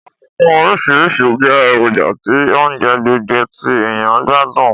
Ọ̀dùnkún orísìrísi je èròjà ti ounje gbogbo ti èyàn n gbádùn.